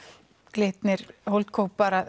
Glitnir